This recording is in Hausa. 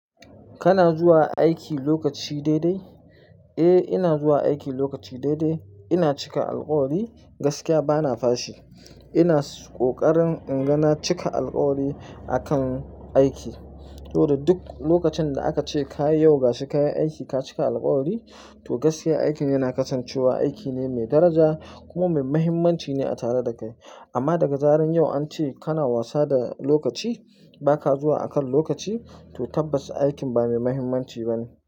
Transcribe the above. Kana zuwa aiki lokaci daidai? Eh ina zuwa aiki lokaci daidai. Ina cika alkawari, gaskiya bana fashi. Ina kokarin in ga na cika alkawari akan aiki. To da duk lokacin da aka ce ka yi yau gasho kayi aiki, ka cika alkawari, to gaskiya aikin yana kasancewa aiki ne mai daraja kuma mai mahimmanci ne a tare da kai. Amma daga zaran yau an ce kana wasa da lokaci, baka zuwa akan lokaci to tabbas aikin ba mai mahimmanci ba ne.